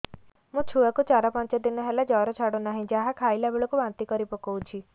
ମୋ ଛୁଆ କୁ ଚାର ପାଞ୍ଚ ଦିନ ହେଲା ଜର ଛାଡୁ ନାହିଁ ଯାହା ଖାଇଲା ବେଳକୁ ବାନ୍ତି କରି ପକଉଛି